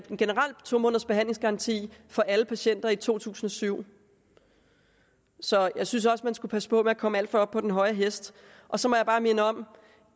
to måneders behandlingsgaranti for alle patienter i to tusind og syv så jeg synes også man skal passe på med at komme alt for højt op på den høje hest så må jeg bare minde om